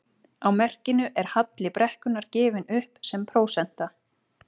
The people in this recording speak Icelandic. Á merkinu er halli brekkunnar gefinn upp sem prósenta.